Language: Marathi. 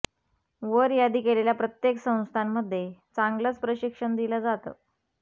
वर यादी केलेल्या प्रत्येक संस्थांमधे चांगलंच प्रशिक्षण दिलं जातं